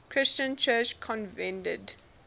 christian church convened